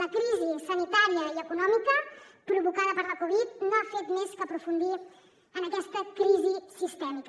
la crisi sanitària i econòmica provocada per la covid no ha fet més que aprofundir en aquesta crisi sistèmica